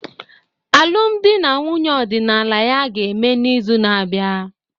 Alụmdi na nwunye ọdịnala ya ga-eme n'izu na-abịa